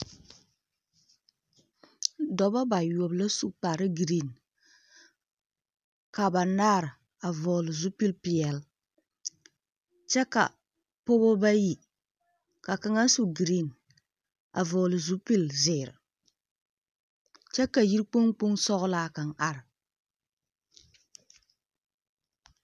Dɔbɔ bayoɔbo la su kpare giriiŋ, ka banaar a vɔgele zupil-peɛl kyɛ ka pɔɔba bayi ka kaŋa su giriiŋ a vɔgele zupil-zeere, kyɛ ka yiri kpoŋ kpoŋ sɔglaa kaŋ are.